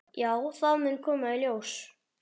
Já, það mun koma í ljós.